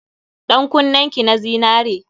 Ɗan kunnen ki na zinare.